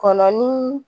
Kɔnɔ ni